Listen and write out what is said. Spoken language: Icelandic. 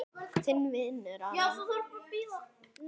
Þinn vinur Aron.